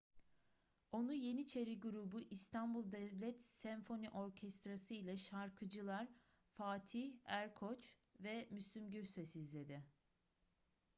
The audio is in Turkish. onu yeniçeri grubu i̇stanbul devlet senfoni orkestrası ile şarkıcılar fatih erkoç ve müslüm gürses izledi